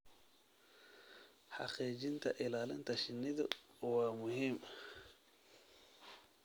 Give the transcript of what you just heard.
Xaqiijinta ilaalinta shinnidu waa muhiim.